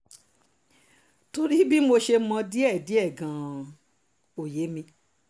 torí bí mo ṣe mọ̀ ọ́n díẹ̀díẹ̀ gan-an ò yé mi